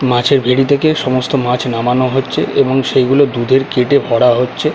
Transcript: মাছের ভেড়ী থেকে সমস্ত মাছ নামানো হচ্ছে এবং সেইগুলো দুধের ক্রেট -এ ভরা হচ্ছে।